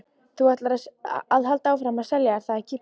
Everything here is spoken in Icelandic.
Þú ætlar að halda áfram að selja, er það ekki?